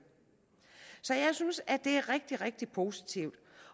så jeg synes at det er rigtig rigtig positivt